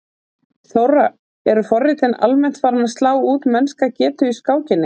Þóra: Eru forritin almennt farin að slá út mennska getu í skákinni?